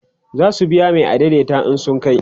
zasu biya Mai adaidaita in sun kai